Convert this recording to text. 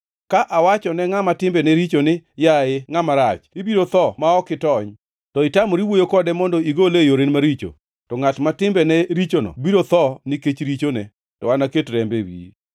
Ka awacho ne ngʼama timbene richo ni, ‘Yaye ngʼama rach, ibiro tho ma ok itony,’ to itamori wuoyo kode mondo igole e yorene maricho, to ngʼat ma timbene richono biro tho nikech richone, to anaket rembe e wiyi.